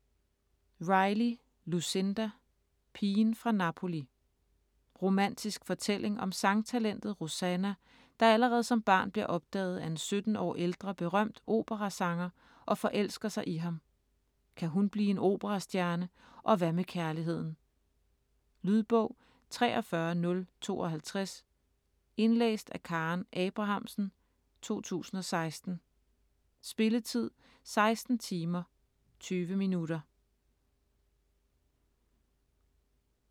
Riley, Lucinda: Pigen fra Napoli Romantisk fortælling om sangtalentet Rosanna, der allerede som barn bliver opdaget af en 17 år ældre berømt operasanger og forelsker sig i ham. Kan hun blive en operastjerne? Og hvad med kærligheden? Lydbog 43052 Indlæst af Karen Abrahamsen, 2016. Spilletid: 16 timer, 20 minutter.